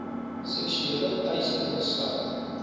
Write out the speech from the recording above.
seksuele teistering sluit